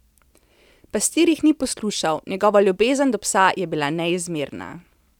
Pastir jih ni poslušal, njegova ljubezen do psa je bila neizmerna.